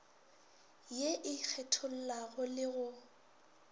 ye e kgethollago le go